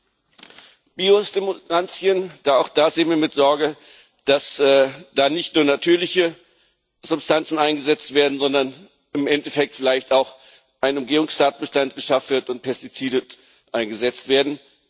Auch bei Biostimulantien sehen wir mit Sorge, dass da nicht nur natürliche Substanzen eingesetzt werden, sondern im Endeffekt vielleicht auch ein Umgehungstatbestand geschaffen wird und Pestizide eingesetzt werden.